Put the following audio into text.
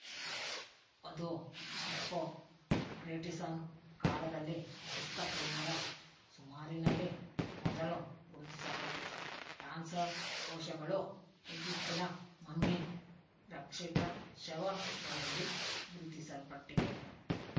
ಅದು ಹಿಪ್ಪೊ ಕ್ರೇಟಿಸನ್ ಕಾಲದಲ್ಲಿ ಕ್ರಿಸ್ತಪೂರ್ವ ರ ಸುಮಾರಿನಲ್ಲಿ ಮೊದಲು ಗುರುತಿಸಲ್ಪಟ್ಟಿತು ಕ್ಯಾನ್ಸರ್ ಕೋಶಗಳು ಈಜಿಪ್ತಿನ ಮಮ್ಮಿ ರಕ್ಷಿತ ಶವಗಳಲ್ಲಿ ಗುರುತಿಸಲ್ಪಟ್ಟಿವೆ